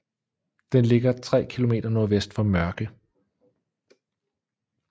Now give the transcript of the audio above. Den ligger tre km nordvest for Mørke